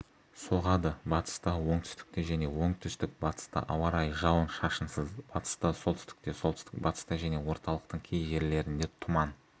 соғады батыста оңтүстікте және оңтүстік-батыста ауа райы жауын-шашынсыз батыста солтүстікте солтүстік-батыста және орталықтың кей жерлеріндетұман